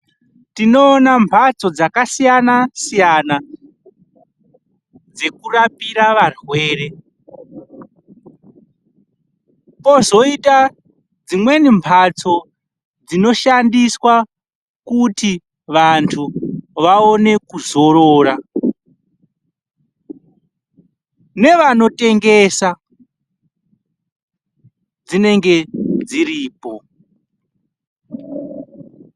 Tinoona mbatso dzakasiyana siyana dzekurapira varwere kozoita dzimweni mbatso dzinoshandiswa kuti vandu vaone kuzorora nedzimwe mbatso dzevanotengesa mitombo dzinenge dziripo.